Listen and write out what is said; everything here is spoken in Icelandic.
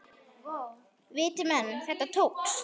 Viti menn, þetta tókst.